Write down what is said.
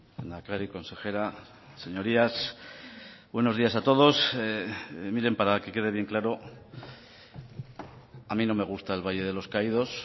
lehendakari consejera señorías buenos días a todos miren para que quede bien claro a mí no me gusta el valle de los caídos